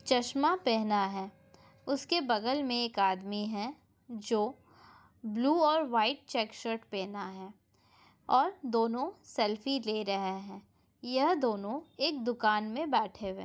चश्मा पेहना हैं उसके बगल में एक आदमी हैं जो ब्लू और वाइट चेक्स शर्ट पेहना हैं और दोनो एक सेल्फी ले रहा हे ये दोनो एक दुकान में बैठे हैं।